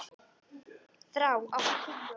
Þrá, áttu tyggjó?